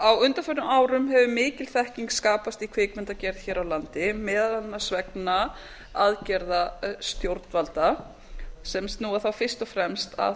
á undanförnum árum hefur mikil þekking skapast í kvikmyndagerð hér á landi meðal annars vegna aðgerða stjórnvalda sem snúa þá fyrst og fremst að